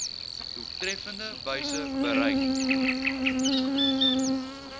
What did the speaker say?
doeltreffendste wyse bereik